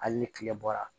Hali ni tile bɔra